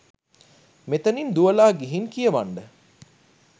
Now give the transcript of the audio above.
මෙතනින් දුවලා ගිහින් කියවන්ඩ.